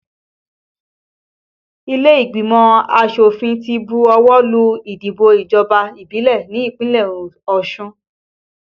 Ilé ìgbìmọ̀ asòfin ti bu ọwọ́ lù ìdìbò ìjọba ìbílẹ̀ ní ìpínlẹ̀ Osun